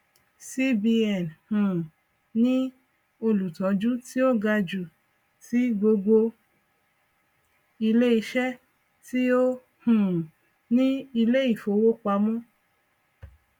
cbn um ní olùtọjú tí ó ga jù ti gbogbo iléiṣẹ tí ó um ní iléìfowọpamọ